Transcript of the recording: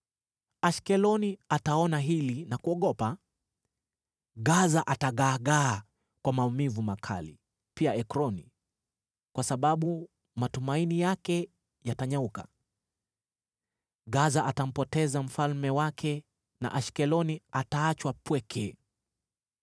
Ashkeloni ataona hili na kuogopa; Gaza atagaagaa kwa maumivu makali, pia Ekroni, kwa sababu matumaini yake yatanyauka. Gaza atampoteza mfalme wake na Ashkeloni ataachwa pweke.